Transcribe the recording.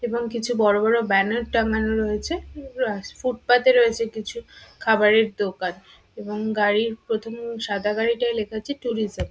এবং কিছু বড় বড় ব্যানার টানানো রয়েছে। ফুটপাত ও রয়েছে কিছু খাবারের দোকান এবং গাড়ি প্রথমে সাদা গাড়িটায় লেখা আছে ট্যুরিজম ।